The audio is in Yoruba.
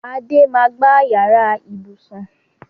Adé máa gba yàrá ibùsùn